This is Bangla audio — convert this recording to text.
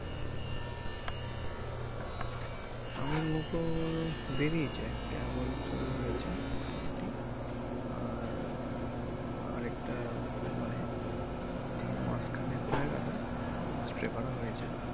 আমের মুকুল বেরিয়েছে কেবল শুরু হয়েছে মোটামুটি আর আর একটা মানে মাস খানেক হয়ে গেলো spray করা হয়েছে।